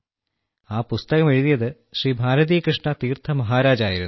ആ പുസ്തകം എഴുതിയത് ശ്രീ ഭാരതി കൃഷ്ണ തീർത്ഥ മഹാരാജ് ആയിരുന്നു